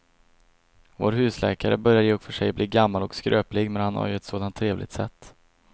Vår husläkare börjar i och för sig bli gammal och skröplig, men han har ju ett sådant trevligt sätt!